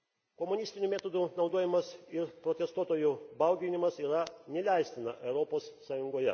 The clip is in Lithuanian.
Komunistinių metodų naudojimas ir protestuojų bauginimas yra neleistina Europos Sąjungoje.